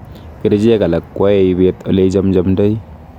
Kerceek alak koae ibet ole ichamchamindoi